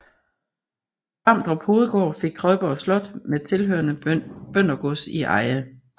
Vamdrup Hovedgård fik Trøjborg Slot med tilhørende bøndergods i eje